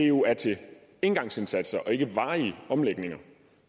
jo er til engangsindsatser og ikke varige omlægninger